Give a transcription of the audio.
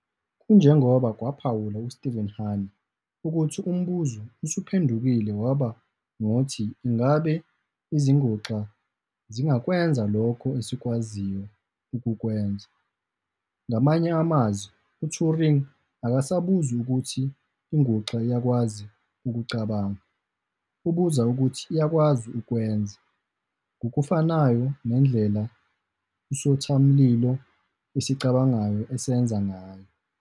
Kunjengoba kwaphawula u-Stevan Harna, ukuthi umbuzo usuphendukile waba ngothi "ingabe izinguxa zingakwenza lokho esikwaziyo ukukwenza?". Ngamanye amazwi, uTuring akasabuzi ukuthi inguxa iyakwazi "ukucabanga", ubuza ukuthi iyakwazi "ukwenza" ngokufanayo nendlela isothamlilo esicabangayo esenza ngayo.